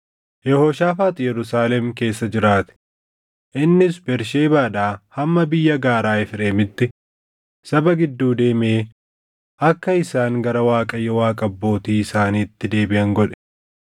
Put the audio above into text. Yehooshaafaax Yerusaalem keessa jiraate; innis Bersheebaadhaa hamma biyya gaaraa Efreemitti saba gidduu deemee akka isaan gara Waaqayyo Waaqa abbootii isaaniitti deebiʼan godhe.